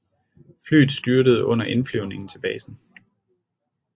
Flyet styrtede under indflyvning til basen